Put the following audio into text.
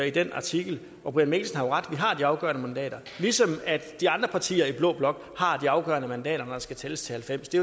i den artikel og brian mikkelsen har jo ret vi har de afgørende mandater ligesom de andre partier i blå blok har de afgørende mandater når der skal tælles til halvfems det